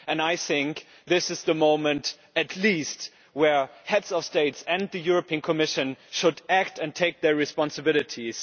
I think this is the moment, at least, where Heads of States and the European Commission should act and take their responsibilities.